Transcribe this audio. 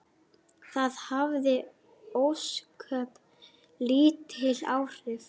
Það hafði ósköp lítil áhrif.